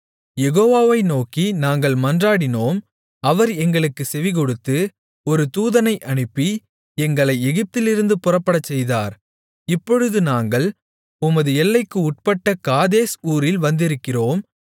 யெகோவாவை நோக்கி நாங்கள் மன்றாடினோம் அவர் எங்களுக்குச் செவிகொடுத்து ஒரு தூதனை அனுப்பி எங்களை எகிப்திலிருந்து புறப்படச்செய்தார் இப்பொழுது நாங்கள் உமது எல்லைக்கு உட்பட்ட காதேஸ் ஊரில் வந்திருக்கிறோம்